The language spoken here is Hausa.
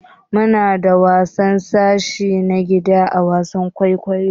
Muna da taro na sashi ã gidan wasan kwaikwayo.